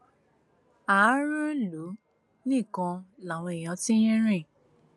ààrùn ìlú nìkan làwọn èèyàn ti ń rìn